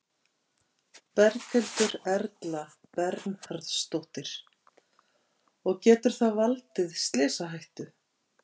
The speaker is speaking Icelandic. Berghildur Erla Bernharðsdóttir: Og getur það valdið slysahættu?